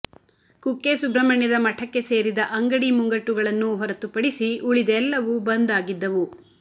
ಕುಕ್ಕೆ ಸುಬ್ರಹ್ಮಣ್ಯದ ಮಠಕ್ಕೆ ಸೇರಿದ ಅಂಗಡಿ ಮುಂಗಟ್ಟುಗಳನ್ನು ಹೊರತುಪಡಿಸಿ ಉಳಿದೆಲ್ಲವೂ ಬಂದ್ ಆಗಿದ್ದವು